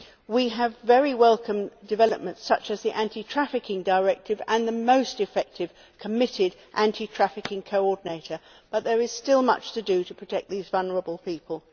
We have very welcome developments such as the Anti Trafficking Directive and a most effective and committed Anti Trafficking Coordinator, but there is still much to do to protect these vulnerable people.